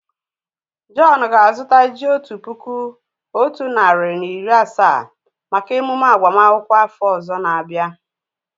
John ga á zuta ji otu puku otu nari na iri asaa maka emume agbama akwukwo áfọ ozor na abia